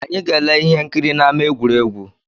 Anyị ga-ele ihe nkiri n’ama egwuregwu